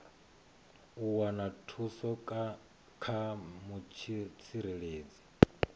u wana thuso kha mutsireledzi